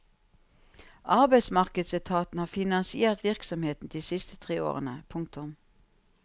Arbeidsmarkedsetaten har finansiert virksomheten de siste tre årene. punktum